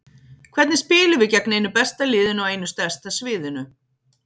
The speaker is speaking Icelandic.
Hvernig spilum við gegn einu besta liðinu á einu stærsta sviðinu?